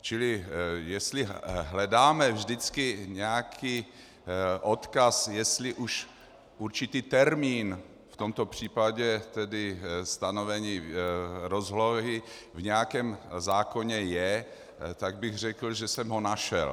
Čili jestli hledáme vždycky nějaký odkaz, jestli už určitý termín, v tomto případě tedy stanovení rozlohy, v nějakém zákoně je, tak bych řekl, že jsem ho našel.